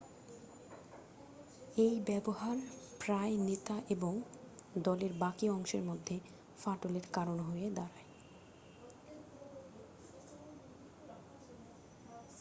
এই ব্যাবহার প্রায়ই নেতা এবং দলের বাকি অংশের মধ্যে ফাটলের কারন হয়ে পড়ে